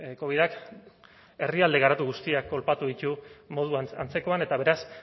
covidak herrialde garatu guztiak kolpatu ditu moduan antzekoan eta beraz